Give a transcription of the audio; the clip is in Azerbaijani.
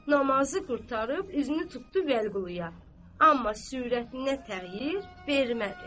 Namazı qurtarıb üzünü tutdu Vəliquluya, amma sürətinə təğyir vermədi.